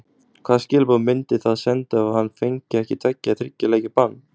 Hvaða skilaboð myndi það senda ef hann fengi ekki tveggja eða þriggja leikja bann?